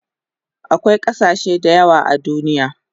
Akwai kasashe dayawa a duniya